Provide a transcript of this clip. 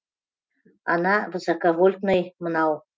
ана высоковольтный мынау